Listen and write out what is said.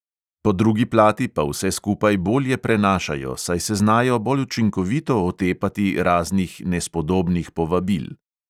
"Po drugi plati pa vse skupaj bolje prenašajo, saj se znajo bolj učinkovito otepati raznih nespodobnih povabil."